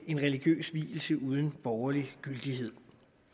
religiøse vielse uden borgerlig gyldighed